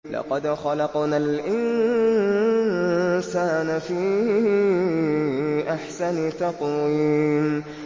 لَقَدْ خَلَقْنَا الْإِنسَانَ فِي أَحْسَنِ تَقْوِيمٍ